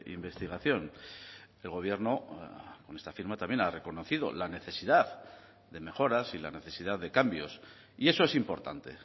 investigación el gobierno con esta firma también ha reconocido la necesidad de mejoras y la necesidad de cambios y eso es importante